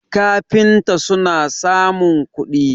kafinta suna samun kudi